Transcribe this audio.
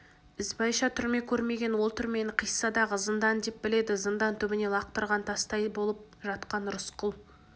ізбайша түрме көрмеген ол түрмені қиссадағы зындан деп біледі зындан түбіне лақтырған тастай болып жатқан рысқұл